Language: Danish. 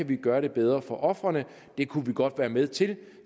kan gøre det bedre for ofrene det kunne vi godt være med til